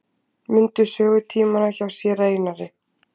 Mundu sögutímana hjá séra Einari.